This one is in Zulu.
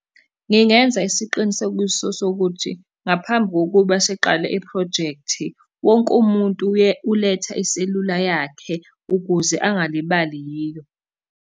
Ngingenza isiqinisekiso sokuthi, ngaphambi kokuba siqale iphrojekthi, wonke umuntu uletha iselula yakhe, ukuze angalibali yiyo.